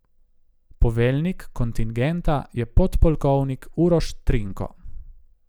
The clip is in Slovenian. Poveljnik kontingenta je podpolkovnik Uroš Trinko.